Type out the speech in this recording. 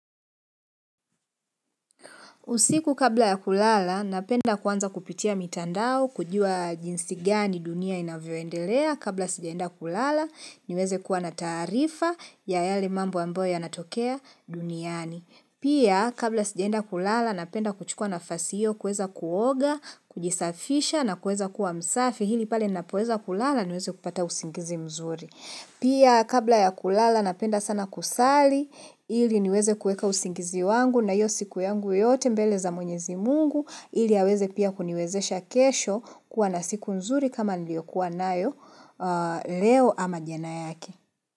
Usiku kabla ya kulala, napenda kwanza kupitia mitandao, kujua jinsi gani dunia inavyoendelea, kabla sijaenda kulala, niweze kuwa na tarifa ya yale mambo ambo yanatokea duniani. Pia, kabla sijaenda kulala, napenda kuchukua nafasi hio kueza kuoga, kujisafisha na kueza kuwa msafi, ili pale napoeza kulala, niweze kupata usingizi mzuri. Pia kabla ya kulala napenda sana kusali ili niweze kueka usingizi wangu na hio siku yangu yote mbele za mwenyezi mungu ili yaweze pia kuniwezesha kesho kuwa na siku nzuri kama niliyokuwa nayo leo ama jana yake.